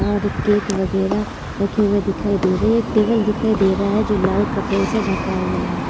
और केक वगेरह रखे हुए दिखाई दे रहे है एक टेबल दिखाई दे रह है जो लाल कपडे से ढका हुआ है।